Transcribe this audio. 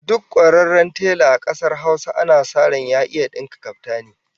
Duk kwararren tela a kasar Hausa ana sa ran ya iya dinka kaftani